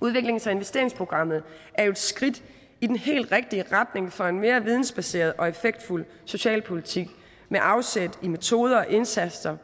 udviklings og investeringsprogrammet er jo et skridt i den helt rigtige retning for en mere vidensbaseret og effektfuld socialpolitik med afsæt i metoder og indsatser